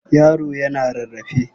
Yaro yana rarrae.